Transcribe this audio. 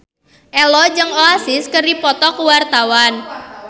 Ello jeung Oasis keur dipoto ku wartawan